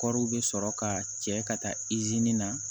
Kɔri bɛ sɔrɔ ka cɛ ka taa izini na